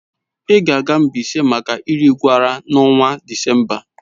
Ị ga-aga Mbaise maka Erigwara n'ọnwa Disemba?